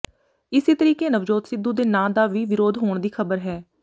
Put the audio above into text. ਇਸੇ ਤਰੀਕੇ ਨਵਜੋਤ ਸਿੱਧੂ ਦੇ ਨਾਂ ਦਾ ਵੀ ਵਿਰੋਧ ਹੋਣ ਦੀ ਖਬਰ ਹੈ